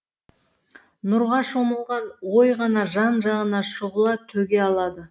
нұрға шомылған ой ғана жан жағына шұғыла төге алады